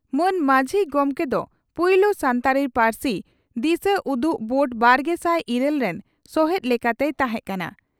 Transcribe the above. ᱢᱟᱱ ᱢᱟᱹᱡᱷ ᱜᱚᱢᱠᱮ ᱫᱚ ᱯᱩᱭᱞᱩ ᱥᱟᱱᱛᱟᱲᱤ ᱯᱟᱹᱨᱥᱤ ᱫᱤᱥᱟᱹᱩᱫᱩᱜ ᱵᱳᱨᱰ ᱵᱟᱨᱜᱮᱥᱟᱭ ᱤᱨᱟᱹᱞ ᱨᱮᱱ ᱥᱚᱦᱮᱛ ᱞᱮᱠᱟᱛᱮᱭ ᱛᱟᱦᱮᱸ ᱠᱟᱱᱟ ᱾